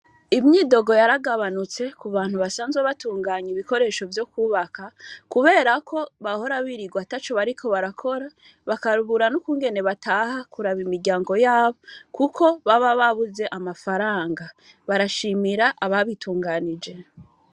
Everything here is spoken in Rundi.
Imyidogo yaragabanutse kubantu basanzwe batunganya ibikoresho vyo kubaka, kuberako bahora birigwa ataco bariko barakora bakabura nukungene bataha kuraba imiryango yabo kuko baba babuze amafaranga, barashimira ababitunganije.